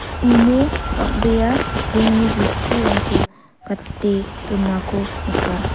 uno bang·bea rongni bosturangko gate donako nika.